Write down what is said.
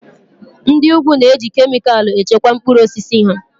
Ndị úgwù na-eji kemịkalụ echekwa mkpụrụ osisi ha